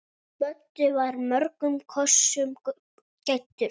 Böddi var mörgum kostum gæddur.